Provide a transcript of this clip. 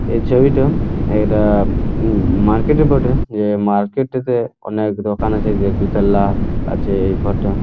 এই ছবিটা এটা উম মার্কেট -এর বঠে যে মার্কেট টিতে অনেক দোকান আছে দুতলা আছে এই ঘর টা --